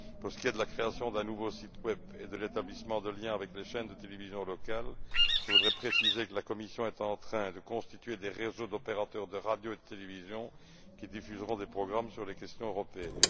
Pour ce qui est de la création d'un nouveau site web et de l'établissement de liens avec les chaînes de télévision locales, je tiens à préciser que la Commission est en train de constituer des réseaux d'opérateurs de radio et de télévision qui diffuseront des programmes sur les questions européennes.